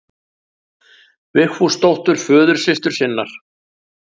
Vigfúsdóttur, föðursystur sinnar.